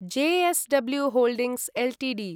JSW holdings Ltd